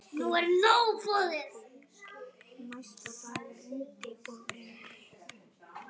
Engin var eins og hún.